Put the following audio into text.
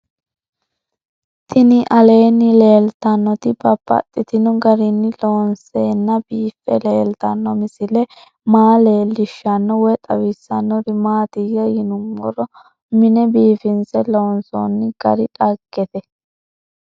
Tinni aleenni leelittannotti babaxxittinno garinni loonseenna biiffe leelittanno misile maa leelishshanno woy xawisannori maattiya yinummoro mine biiffinsse loonsoonni gari dhageette